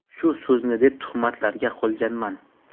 Shu so‘zni deb tuhmatlarga qolganman.